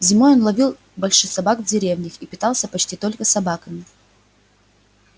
зимой он ловил больших собак в деревнях и питался почти только собаками